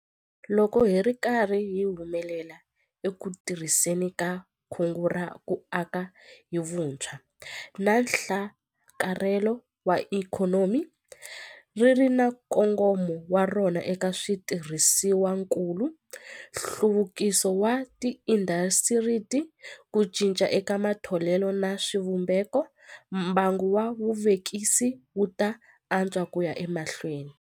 Loko hi ri karhi hi humelela eku tirhiseni ka Kungu ra ku Aka hi Vutshwa na Nhlakarhelo wa Ikhonomi - ri ri na nkongomo wa rona eka switirhisiwakulu, nhluvukiso wa tiindasitiri, ku cinca eka matholelo na swivumbeko - mbangu wa vuvekisi wu ta antswa ku ya emahlweni.